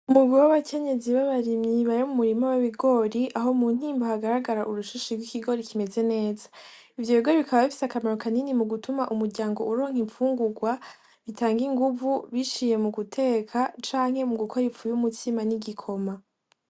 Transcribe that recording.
Umugwi w'abakenyezi babarimyi bari mumurima w'ibigori aho muntimba hagaragara urushishi gwikigori kimeze neza. Ivyo bigori bikaba bifise akamaro kanini mugutuma umuryango uronka imfungugwa zitanga inguvu biciye muguteka canke mugukora ifu yumutsima n'igikoma.